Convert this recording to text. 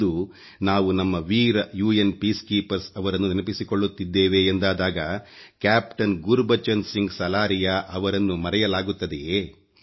ಇಂದು ನಾವು ನಮ್ಮ ವೀರ ಯುಎನ್ ಶಾಂತಿ ಕಾರ್ಯ ಪಡೆಯನ್ನು ನೆನಪಿಸಿಕೊಳ್ಳುತ್ತಿದ್ದೇವೆ ಎಂದಾದಾಗ ಕ್ಯಾಪ್ಟನ್ ಗುರ್ಬಚನ್ ಸಿಂಗ್ ಸಲಾರಿಯಾ ಅವರನ್ನು ನರೆಯಲಾಗುತ್ತದೆಯೇ